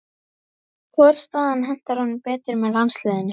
Hvor staðan hentar honum betur með landsliðinu?